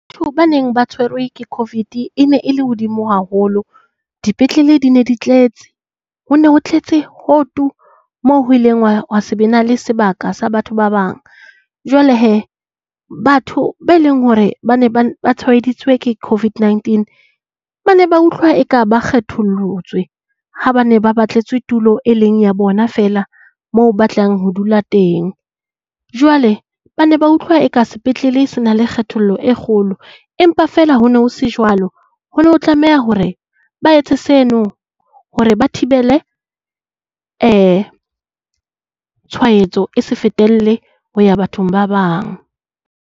Batho ba neng ba tshwerwe ke COVID ne e le hodimo haholo. Dipetlele di ne di tletse, ho ne tletse ho tu, moo ho bileng ha se be le sebaka sa batho ba bang. Jwale he batho ba leng hore ba ne ba tshwaeditswe ke COVID-19 ba ne ba utlwa eka ba kgethollotswe ha ba ne ba batletswe tulo e leng ya bona fela mo batlang ho dula teng. Jwale ba ne ba utlwa e ka sepetlele se na le kgethollo e kgolo, empa fela ho ne ho se jwalo. Ho ne ho tlameha hore ba etse seno hore ba thibele tshwaetso e se fetele ho ya bathong ba bang.